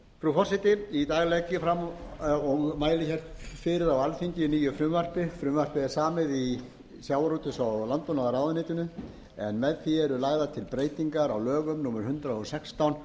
forseti í dag legg ég fram á alþingi nýtt frumvarp frumvarpið er samið í sjávarútvegs og landbúnaðarráðuneytinu en með því eru lagðar til breytingar á lögum númer hundrað og sextán